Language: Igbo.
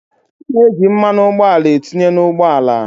A na-eji mmanụ ụgbọala etinye n’ ụgbọala